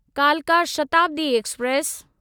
कालका शताब्दी एक्सप्रेस